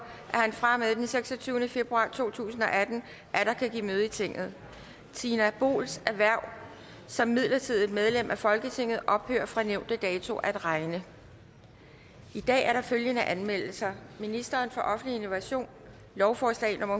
at han fra og med den seksogtyvende februar to tusind og atten atter kan give møde i tinget tina boels hverv som midlertidigt medlem af folketinget ophører fra nævnte dato at regne i dag er der følgende anmeldelser ministeren for offentlig innovation lovforslag nummer